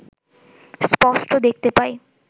স্পষ্ট দেখতে পাই